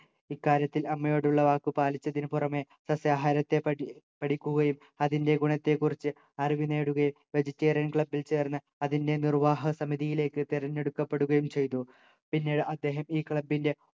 ഇക്കാര്യത്തിൽ അമ്മയോടുള്ള വാക്കു പാലിച്ചതിന് പുറമേ സസ്യാഹാരത്തെപ്പറ്റി പഠിക്കുകയും അതിന്റെ ഗുണത്തെക്കുറിച്ച് അറിവ് നേടുകയും vegetarian club ൽ ചേർന്ന് അതിൻ്റെ നിർവാഹ സമിതിയിലേക്ക് തിരഞ്ഞെടുക്കപ്പെടുകയും ചെയ്തു പിന്നീട് അദ്ദേഹം ഈ club ൻ്റെ